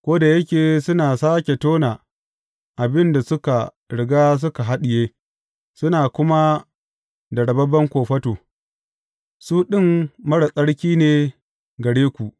Ko da yake suna sāke tona abin da suka riga suka haɗiye, suna kuma da rababben kofato, su ɗin marar tsarki ne gare ku.